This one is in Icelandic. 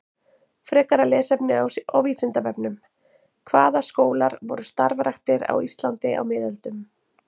Frekara lesefni á Vísindavefnum: Hvaða skólar voru starfræktir á Íslandi á miðöldum?